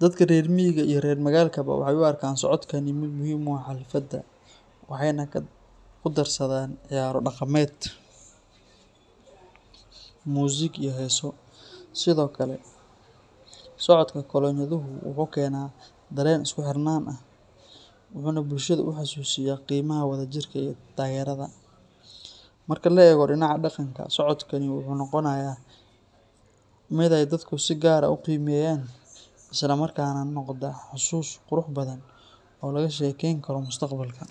Dadka reer miyiga iyo reer magaalkaba waxay u arkaan socodkani mid muhim u ah xafladda, waxayna ku darsadaan ciyaaro dhaqameed, muusig iyo heeso. Sidoo kale, socodka kolonyaduhu wuxuu keenaa dareen isku xirnaan ah, wuxuuna bulshada u xasuusiyaa qiimaha wadajirka iyo taageerada. Marka la eego dhinaca dhaqanka, socodkani wuxuu noqonayaa mid ay dadku si gaar ah u qiimeeyaan, isla markaana noqda xusuus qurux badan oo laga sheekeyn karo mustaqbalka.